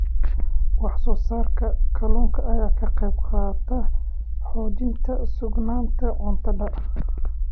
Wax-soo-saarka kalluunka ayaa ka qaybqaata xoojinta sugnaanta cuntada.